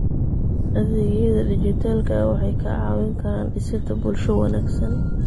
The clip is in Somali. Adeegyada dijitaalka ah waxay kaa caawin karaan dhisidda bulsho wanaagsan.